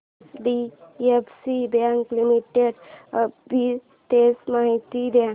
HDFC bank limited arbitrage माहिती दे